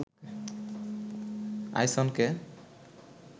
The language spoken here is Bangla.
আইসনকে